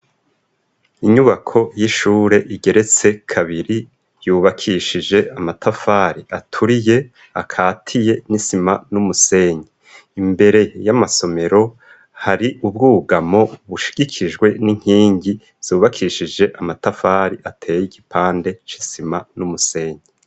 Inyubako y'ishure igeretse kabiri yubakishije amatafari aturiye akatiye nisima n'umusenyi. Imbere y'amasomero hari ubwugamo bushigikijwe n'inkingi zubakishije amatafari ateye igipande c'isima n'umusenyi.